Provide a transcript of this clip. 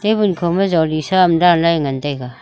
tabul jolisaam danlah e ngan taiga.